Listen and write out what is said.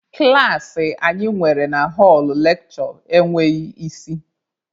Klaasị anyị nwere na họlụ lekshure enweghị isi.